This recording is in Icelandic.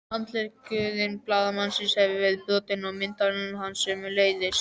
Handleggur blaðamannsins hafði verið brotinn og myndavélin hans sömuleiðis.